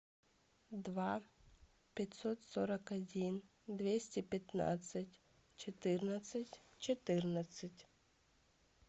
два пятьсот сорок один двести пятнадцать четырнадцать четырнадцать